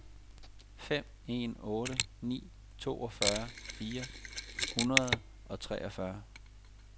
fem en otte ni toogfyrre fire hundrede og treogfyrre